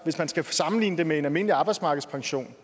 hvis man skal sammenligne det med en almindelig arbejdsmarkedspension